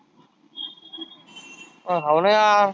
अं हाव ना यार.